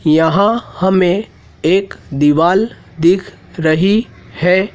यहां हमें एक दीवाल दिख रही है।